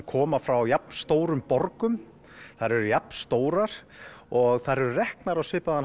koma frá jafn stórum borgum þær eru jafn stórar og þær eru reknar á svipaðan